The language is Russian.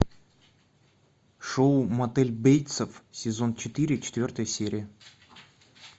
шоу мотель бейтсов сезон четыре четвертая серия